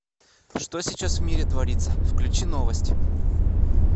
что сейчас в мире творится включи новости